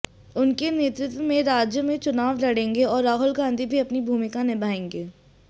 उनके नेतृत्व में राज्य में चुनाव लड़ेंगे और राहुल गांधी भी अपनी भूमिका निभाएंगे